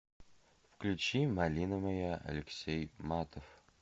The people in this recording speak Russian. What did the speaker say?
включи малина моя алексей матов